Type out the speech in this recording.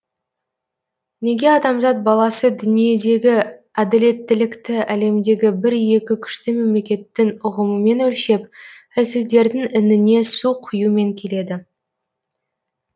неге адамзат баласы дүниедегі әділеттілікті әлемдегі бір екі күшті мемлекеттің ұғымымен өлшеп әлсіздердің ініне су құюмен келеді